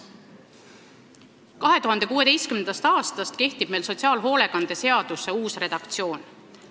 2016. aastast kehtib meil sotsiaalhoolekande seaduse uus redaktsioon.